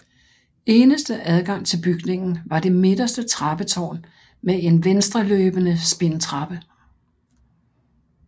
Eneste adgang til bygningen var det midterste trappetårn med en venstreløbende spindtrappe